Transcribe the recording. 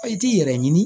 A i t'i yɛrɛ ɲini